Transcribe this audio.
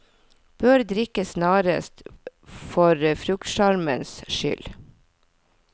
Bør drikkes snarest for fruktsjarmens skyld.